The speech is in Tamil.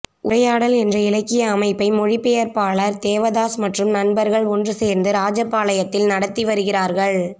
உரையாடல் என்ற இலக்கிய அமைப்பை மொழிபெயர்ப்பாளர் தேவதாஸ் மற்றும் நண்பர்கள் ஒன்று சேர்ந்து ராஜபாளையத்தில் நடத்தி வருகிறார்கள்